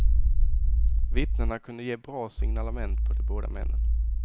Vittnena kunde ge bra signalement på de båda männen.